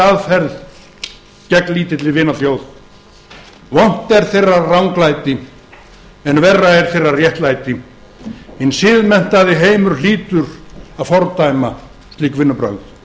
aðferð gegn lítilli vinaþjóð vont er þeirra ranglæti en verra er þeirra réttlæti hinn siðmenntaði heimur hlýtur að fordæma slík vinnubrögð